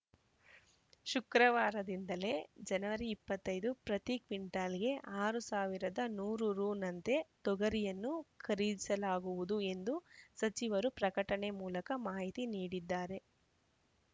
ಶುಕ್ರವಾರದಿಂದಲೇ ಜನವರಿ ಇಪ್ಪತ್ತ್ ಐದು ಪ್ರತಿ ಕ್ವಿಂಟಾಲ್‌ಗೆ ಆರ್ ಸಾವಿರದ ನೂರು ರುನಂತೆ ತೊಗರಿಯನ್ನು ಖರೀದಿಸಲಾಗುವುದು ಎಂದು ಸಚಿವರು ಪ್ರಕಟಣೆ ಮೂಲಕ ಮಾಹಿತಿ ನೀಡಿದ್ದಾರೆ